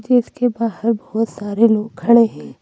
जिसके बाहर बहुत सारे लोग खड़े है।